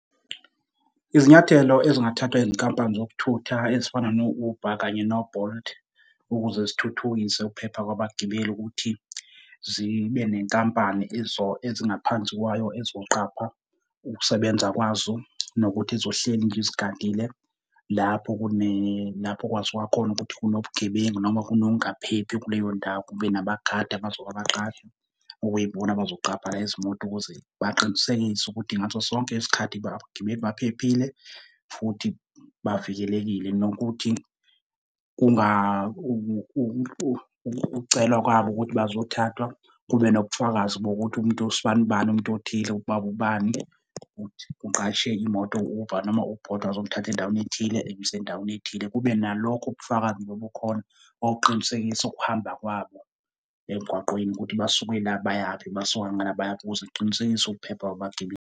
Izinyathelo ezingathathwa izinkampani zokuthutha ezifana no-Uber kanye no-Bolt, ukuze zithuthukise ukuphepha kwabagibeli ukuthi zibe nenkampani ezo ezingaphansi kwayo ezoqapha ukusebenza kwazo. Nokuthi zizohleli nje zigadile lapho kune lapho kwaziwa khona ukuthi kunobugebengu noma kunokungaphephi kuleyondawo, kube nabagadi abazoba abaqashi, okuyibona abazoqapha izimoto ukuze baqinisekise ukuthi ngaso sonke isikhathi baphephile futhi bavikelekile, nokuthi kunga ukucelwa kwabo ukuthi bazothathwa kube nobufakazi bokuthi umuntu usbanibani umuntu othile, ubaba ubani ukuthi uqashe imoto u-Uber noma u-Bolt wazomuthatha endaweni ethile, emyisa endaweni ethile. Kube nalokho ubufakazi obukhona okuqinisekisa ukuhamba kwabo emgwaqeni. Ukuthi basuke la bayaphi, basuke ngala bayaphi ukuze siqinisekise ukuphepha kwabagibeli.